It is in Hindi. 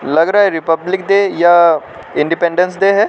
लग रहा है रिपब्लिक डे या इंडिपेंडेंस डे है।